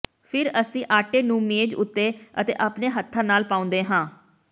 ਫਿਰ ਅਸੀਂ ਆਟੇ ਨੂੰ ਮੇਜ਼ ਉੱਤੇ ਅਤੇ ਆਪਣੇ ਹੱਥਾਂ ਨਾਲ ਪਾਉਂਦੇ ਹਾਂ